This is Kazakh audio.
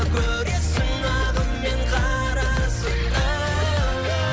көресің ағы мен қарасын да